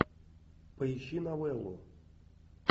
поищи новеллу